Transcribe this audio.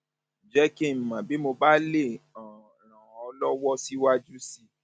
jẹ kí n mọ bí mo bá lè ràn um ọ um lọwọ síwájú sí i